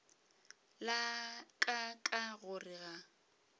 la ka ka gore ga